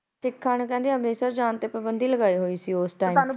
ਸਿੱਖਾਂ ਨੇ ਕਹਿੰਦੇ ਅੰਮ੍ਰਿਤਸਰ ਜਾਣ ਤੇ ਪਾਬੰਦੀ ਲਗਾਈ ਹੋਈ ਸੀ ਉਸ ਸਮੇ